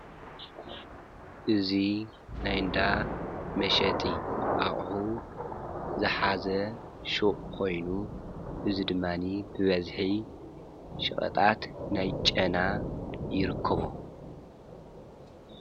እዚ ናይ ዳ መሸጢ ኣቑሑ ዝሓዘ ሹቅ ኮይኑ እዚ ድማኒ ብበዚሒ ሸቀጣት ናይ ጨና ይርከቦ፡፡